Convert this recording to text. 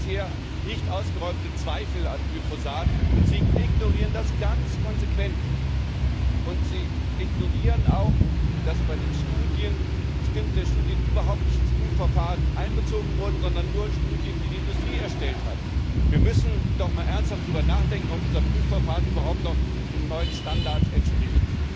Es gibt bisher nicht ausgeräumte Zweifel an Glyphosat, und Sie ignorieren das ganz konsequent. Sie ignorieren auch, dass bei den Studien bestimmte Studien überhaupt nicht in das Prüfverfahren einbezogen wurden, sondern nur Studien, die die Industrie erstellt hat. Wir müssen doch mal ernsthaft darüber nachdenken, ob unser Prüfverfahren überhaupt noch den neuen Standards entspricht.